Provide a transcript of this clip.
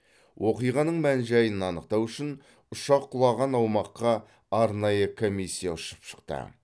оқиғаның мән жайын анықтау үшін ұшақ құлаған аумаққа арнайы комиссия ұшып шықты